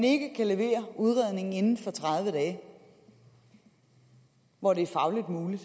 ikke kan levere udredningen inden for tredive dage hvor det er fagligt muligt